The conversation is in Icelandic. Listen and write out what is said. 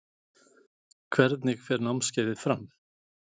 Hvernig fer námskeiðið fram?